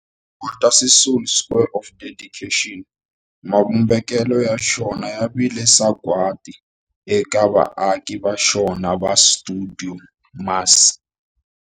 Walter Sisulu Square of Dedication, mavumbelo ya xona ya vile sagwadi eka vaaki va xona va stuidio MAS.